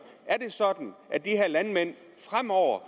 er det sådan at de her landmænd fremover